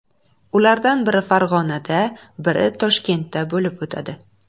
Ulardan biri Farg‘onada, biri Toshkentda bo‘lib o‘tadi.